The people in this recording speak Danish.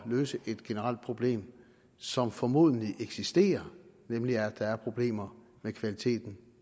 løse et generelt problem som formodentlig eksisterer nemlig at der er problemer med kvaliteten